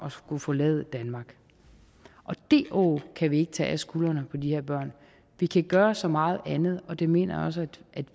at forlade danmark det åg kan vi ikke tage af skuldre vi kan gøre så meget andet og det mener jeg også